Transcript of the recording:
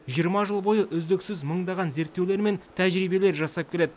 жиырма жыл бойы үздіксіз мыңдаған зерттеулер мен тәжірибелер жасап келеді